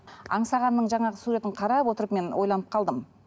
аңсағанның жаңағы суретін қарап отырып мен ойланып қалдым